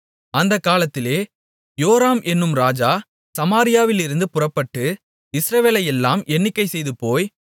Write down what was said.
அந்தக் காலத்திலே யோராம் என்னும் ராஜா சமாரியாவிலிருந்து புறப்பட்டு இஸ்ரவேலையெல்லாம் எண்ணிக்கை செய்து போய்